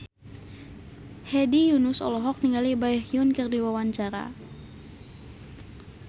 Hedi Yunus olohok ningali Baekhyun keur diwawancara